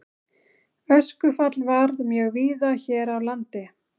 Öskufall varð mjög víða hér á landi.